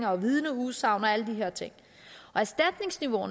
og vidneudsagn og alle de her ting